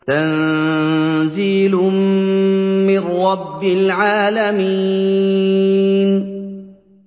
تَنزِيلٌ مِّن رَّبِّ الْعَالَمِينَ